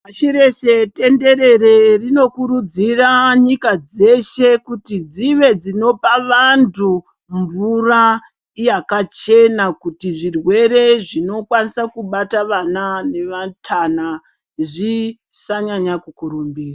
Pashi reshe tenderere rinokurudzira nyika dzeshe kuti dzive dzinopa vantu mvura yakachena. Kuti zvirwere zvinokwanisa kubata vana nevatana zvisanyanya kukurumbira.